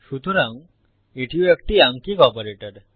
সুতরাং এটিও একটি আঙ্কিক অপারেটর